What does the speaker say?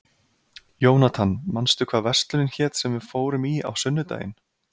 Jónatan, manstu hvað verslunin hét sem við fórum í á sunnudaginn?